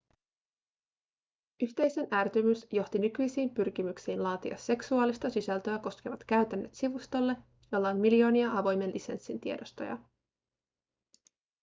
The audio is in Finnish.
yhteisön ärtymys johti nykyisiin pyrkimyksiin laatia seksuaalista sisältöä koskevat käytännöt sivustolle jolla on miljoonia avoimen lisenssin tiedostoja